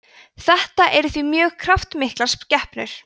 þetta eru því mjög kraftmiklar skepnur